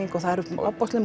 og það er ofboðsleg